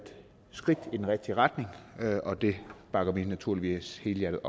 skridt i den rigtige retning og det bakker vi naturligvis helhjertet